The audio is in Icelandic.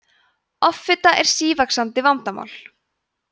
offita er sívaxandi vandamál